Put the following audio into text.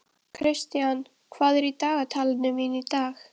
Í þessu felst að forsendur matsins séu ljósar.